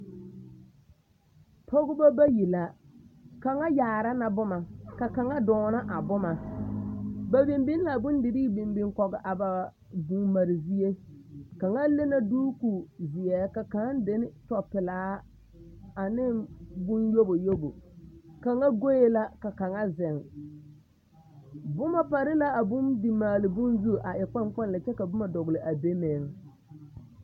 Dɔbɔ bayi ane pɔɔ bonye dɔbɔ bayi ane pɔɔ bayi la zeŋ kaa dɔɔ kaŋa eŋ nimikyaane kyɛ su kparoŋ zeɛ a seɛ kuripelaa a eŋ nɔɔte sɔglɔ kaa pɔge kaŋa meŋ su kootu sɔglaa kyɛ ka a dɔɔ kaŋa zeŋ ba santa poɔ.